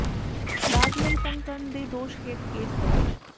ਦਾਜ ਲਈ ਤੰਗ ਕਰਨ ਦੇ ਦੋਸ਼ ਹੇਠ ਕੇਸ ਦਰਜ